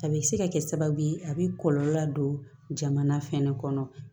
A bɛ se ka kɛ sababu ye a bɛ kɔlɔlɔ ladon jamana fɛnɛ kɔnɔ